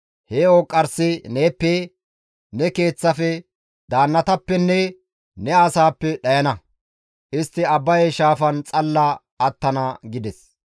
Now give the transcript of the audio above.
He ooqqarsay neeppe, ne keeththafe, daannatappenne ne asaappe dhayana; istti Abbaye shaafan xalla attana» gides.